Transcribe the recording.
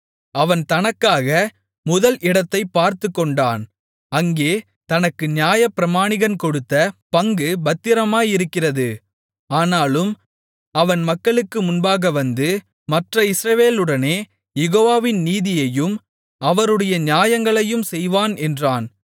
அவன் தனக்காக முதல் இடத்தைப் பார்த்துக்கொண்டான் அங்கே தனக்கு நியாயப்பிரமாணிகன் கொடுத்த பங்கு பத்திரமாயிருக்கிறது ஆனாலும் அவன் மக்களுக்கு முன்பாக வந்து மற்ற இஸ்ரவேலுடனே யெகோவாவின் நீதியையும் அவருடைய நியாயங்களையும் செய்வான் என்றான்